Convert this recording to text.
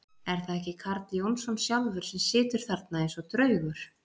Er það ekki Karl Jónsson sjálfur sem situr þarna eins og draugur!